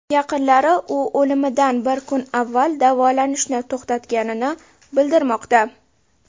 Yaqinlari u o‘limidan bir kun avval davolanishni to‘xtatganini bildirmoqda.